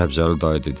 Səbzəli dayı dedi.